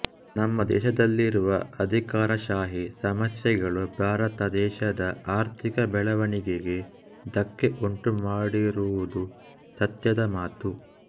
ನಮ್ಮ ದೇಶದಲ್ಲಿರುವ ಅಧಿಕಾರಶಾಹಿ ಸಮಸ್ಯೆಗಳು ಭಾರತ ದೇಶದ ಆರ್ಥಿಕ ಬೆಳವಣಿಗೆಗೆ ಧಕ್ಕೆ ಉಂಟು ಮಾಡಿರುವುದು ಸತ್ಯದ ಮಾತು